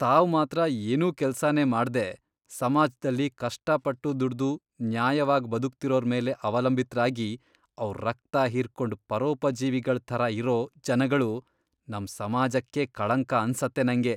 ತಾವ್ ಮಾತ್ರ ಏನೂ ಕೆಲ್ಸನೇ ಮಾಡ್ದೇ ಸಮಾಜ್ದಲ್ಲಿ ಕಷ್ಟಪಟ್ಟು ದುಡ್ದು ನ್ಯಾಯವಾಗ್ ಬದುಕ್ತಿರೋರ್ ಮೇಲೆ ಅವಲಂಬಿತ್ರಾಗಿ ಅವ್ರ್ ರಕ್ತ ಹೀರ್ಕೊಂಡ್ ಪರೋಪಜೀವಿಗಳ್ ಥರ ಇರೋ ಜನಗಳು ನಮ್ ಸಮಾಜಕ್ಕೇ ಕಳಂಕ ಅನ್ಸತ್ತೆ ನಂಗೆ.